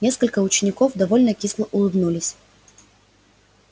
несколько учеников довольно кисло улыбнулись